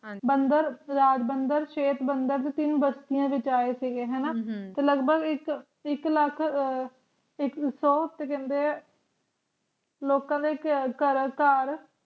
ਹਰਿਮੰਦਰ ਸਾਹਿਬ ਅੰਦਰ ਸਬੰਧਤ ਤਿੰਨ ਮਤਿਆਂ ਵਿੱਚ ਆਈ ਦੇ ਲੱਗ ਭਾਗ ਏਕ ਲਖ ਏਕ ਸੋ ਤੇ ਕਿੰਨੇ ਲੋਕਾਂ ਦੇ ਘਰ